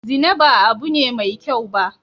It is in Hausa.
Zina ba abun ne mai kyau ba